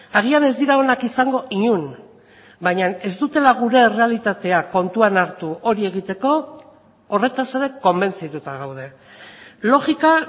agian ez dira onak izango inon baina ez dutela gure errealitatea kontuan hartu hori egiteko horretaz ere konbentzituta gaude logika